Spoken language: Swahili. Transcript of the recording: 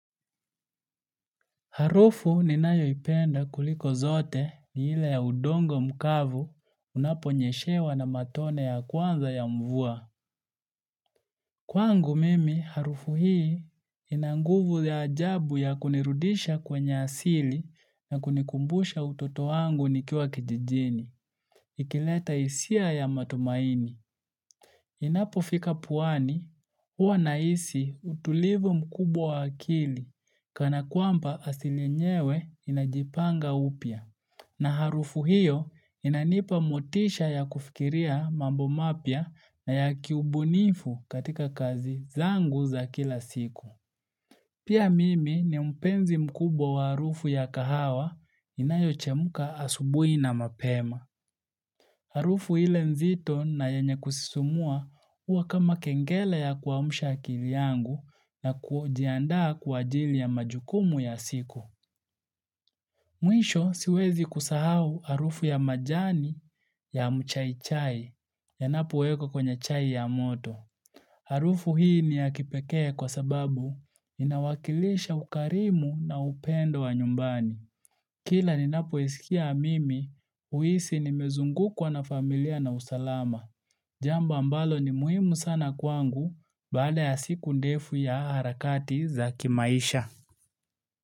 Harufu ninayoipenda kuliko zote ni ile ya udongo mkavu unaponyeshewa na matone ya kwanza ya mvua. Kwangu mimi harufu hii ina nguvu ya ajabu ya kunirudisha kwenye asili na kunikumbusha utoto wangu nikiwa kijijini. Ikileta hisia ya matumaini. Inapofika puani, huwa nahisi utulivu mkubwa wa akili kana kwamba asili enyewe inajipanga upya. Na harufu hiyo inanipa motisha ya kufikiria mambo mapya na ya kiubunifu katika kazi zangu za kila siku. Pia mimi ni mpenzi mkubwa wa harufu ya kahawa inayochemka asubuhi na mapema. Harufu ile nzito na yenye kusisimua huwa kama kengele ya kuamsha akili yangu na kujiandaa kwa ajili ya majukumu ya siku. Mwisho siwezi kusahau harufu ya majani ya mchai chai yanapowekwa kwenye chai ya moto. Harufu hii ni ya kipekee kwa sababu inawakilisha ukarimu na upendo wa nyumbani. Kila ninapoisikia mimi, huhisi nimezungukwa na familia na usalama. Jambo ambalo ni muhimu sana kwangu baada ya siku ndefu ya harakati za kimaisha.